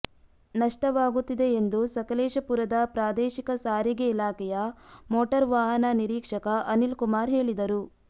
ನಷ್ಟವಾಗುತ್ತಿದೆ ಎಂದು ಸಕಲೇಶಪುರದ ಪ್ರಾದೇಶಿಕ ಸಾರಿಗೆ ಇಲಾಖೆಯ ಮೋಟಾರ್ವಾಹನ ನಿರೀಕ್ಷಕ ಅನಿಲ್ಕುಮಾರ್ ಹೇಳಿದರು